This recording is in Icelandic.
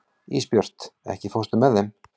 Ísbjört, ekki fórstu með þeim?